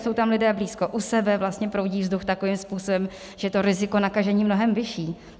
Jsou tam lidé blízko u sebe, vlastně proudí vzduch takovým způsobem, že to riziko nakažení je mnohem vyšší.